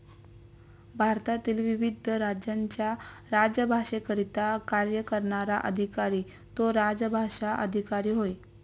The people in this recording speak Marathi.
भारतातील विविध राज्यांच्या राजभाषेकरिता कार्य करणारा अधिकारी तो राजभाषा अधिकारी होय.